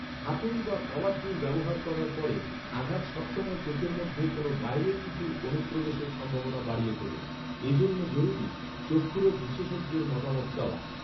হাতুড়ি বা power tool ব্যবহার করার পরে, আঘাত সব সময় চোখের মধ্যে কোন বাইরের কিছুর অনুপ্রবেশের সম্ভাবনা বাড়িয়ে তোলে। এ জন্য জরুরি, চক্ষুরোগ বিশেষজ্ঞের মতামত চাওয়া।